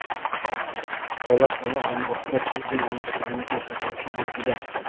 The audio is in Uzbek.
Bola hali oromgohga tayyor emasligini ko‘rsatuvchi belgilar.